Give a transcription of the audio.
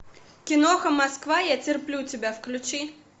киноха москва я терплю тебя включи